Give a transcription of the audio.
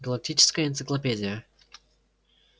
галактическая энциклопедия